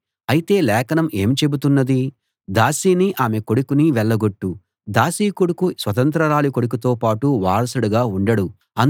అయితే లేఖనం ఏమి చెబుతున్నది దాసిని ఆమె కొడుకుని వెళ్ళగొట్టు దాసి కొడుకు స్వతంత్రురాలి కొడుకుతో పాటు వారసుడుగా ఉండడు